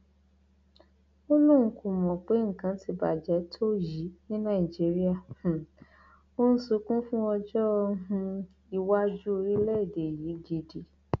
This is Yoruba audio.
ó lóun kò mọ pé nǹkan ti bàjẹ tó yìí ni nàìjíríà um òun sunkún fún ọjọ um iwájú orílẹèdè yìí gidi